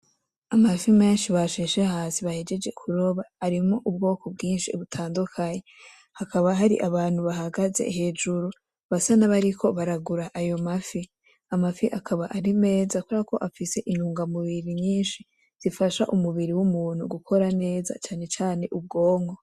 Amafi menshi basheshe hasi bahejeje kuroba arimwo ubwoko bwinshi butandukanye hakaba hari abantu bahagaze hejuru basa nabariko baragura ayo ma fi , Amafi akaba ari meza kuberako afise intungamubiri nyinshi zifasha umubiri w,umuntu gukora neza cane cane ubwonko.